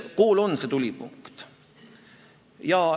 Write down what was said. Kool on see tulipunkt.